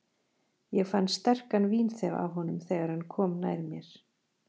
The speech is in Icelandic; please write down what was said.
Ég fann sterkan vínþef af honum, þegar hann kom nær mér.